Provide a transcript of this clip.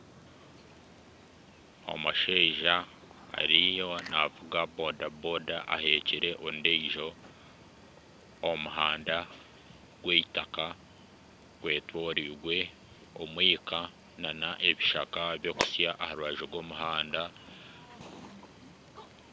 Omushaija ariyo naavuga boda boda ahekire ondiijo. Omuhanda gw'eitaka gwetoreirwe omwika nana ebishaka birikusya aha rubaju rw'omuhanda